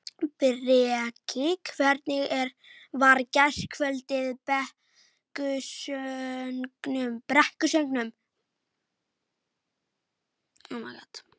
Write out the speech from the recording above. Breki: Hvernig var gærkvöldið, brekkusöngurinn?